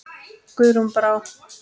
Guðrún Brá.